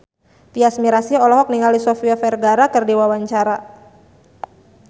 Tyas Mirasih olohok ningali Sofia Vergara keur diwawancara